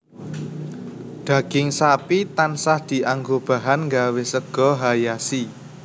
Daging sapi tansah dianggo bahan nggawé sega hayashi